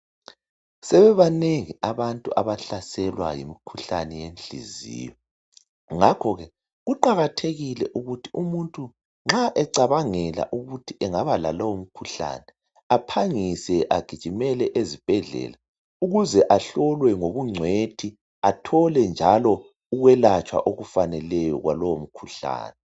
Sebebanengi abantu abahlaselwa yimikhuhlane yenhliziyo. Ngakhoke kuqakathekile ukuthi umuntu nxa ecabangela ukuthi engaba lalowomkhuhlane aphangise agijimele ezibhedlela ukuze ahlolwe ngobungcwethi athole njalo ukwelatshwa okufaneleyo kwalowomkhuhlane.